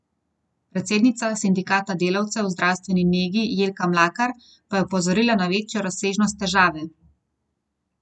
Predsednica sindikata delavcev v zdravstveni negi Jelka Mlakar pa je opozorila na večjo razsežnost težave.